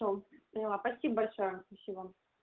все поняла спасибо большое спасибо